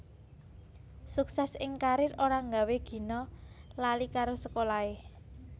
Suksès ing karier ora nggawé Gina lali karo sekolahé